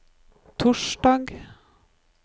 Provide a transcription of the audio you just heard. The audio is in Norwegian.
torsdag